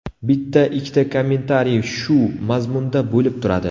Bitta-ikkita kommentariy shu mazmunda bo‘lib turadi.